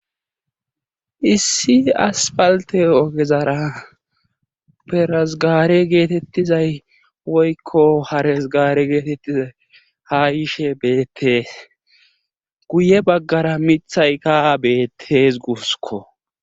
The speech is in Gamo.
Issi aspalte ogezara pheres gaare getetizay woykko hares gaare getetizay haayishe beetees. guye bagara miththaykka beetees guussikko.